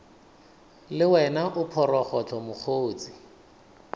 le wena o phorogohlo mokgotse